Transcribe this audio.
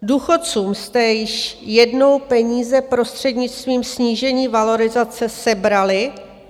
Důchodcům jste již jednou peníze prostřednictvím snížení valorizace sebrali.